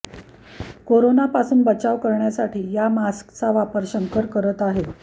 कोरोनापासून बचाव करण्यासाठी या मास्कचा वापर शंकर करत आहे